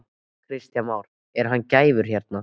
Kristján Már: Er hann gæfur hérna?